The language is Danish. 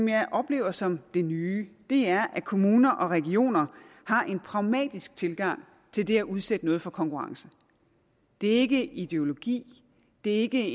jeg oplever som det nye er at kommuner og regioner har en pragmatisk tilgang til det at udsætte noget for konkurrence det er ikke ideologi det er ikke